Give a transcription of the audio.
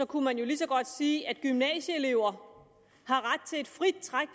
kunne man jo lige så godt sige at gymnasieelever har ret til et frit træk